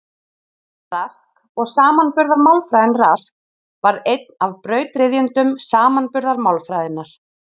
Rask og samanburðarmálfræðin Rask varð einn af brautryðjendum samanburðarmálfræðinnar.